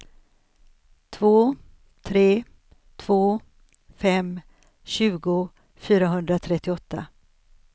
två tre två fem tjugo fyrahundratrettioåtta